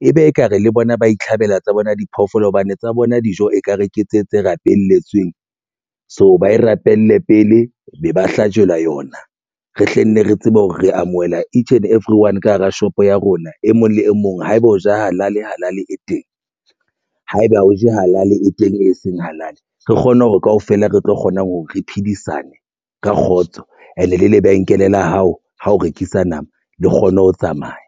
ebe ekare le bona ba itlhabela tsa bona diphoofolo hobane tsa bona dijo ekare ke tse tse rapelletsweng. So, ba e rapelle pele be ba hlajelwa yona. Re hlenne re tsebe hore re amohela han everyone ka hara shop ya rona e mong le e mong ha ebe o ja halali e teng haeba o ja halali e teng e seng halali re kgone hore kaofela re tlo kgona ho re phedisane ka kgotso and e le lebenkele la hao ha o rekisa nama le kgone ho tsamaya.